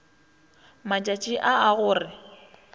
matšaši a a go re